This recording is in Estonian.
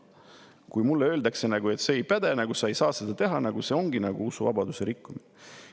Kui mulle öeldakse, et see ei päde, sa ei saa seda teha, siis see ongi nagu usuvabaduse rikkumine.